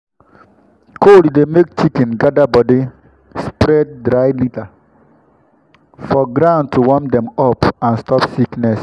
cold dey make chicken gather body—spread dry litter for ground to warm dem up and stop sickness.